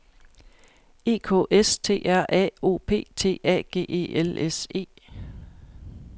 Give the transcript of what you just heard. E K S T R A O P T A G E L S E